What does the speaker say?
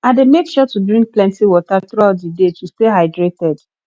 i dey make sure to drink plenty water throughout the day to stay hydrated